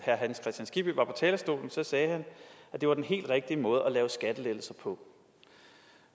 skibby var på talerstolen sagde han at det var den helt rigtige måde at lave skattelettelser på